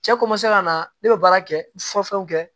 Cɛ ka na ne bɛ baara kɛ fɔ fɛnw kɛ